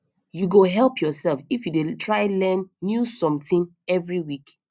you go help yourself if you dey try learn new something every week